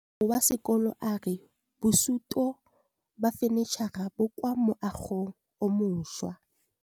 Mogokgo wa sekolo a re bosutô ba fanitšhara bo kwa moagong o mošwa.